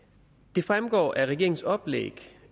det fremgår af regeringens oplæg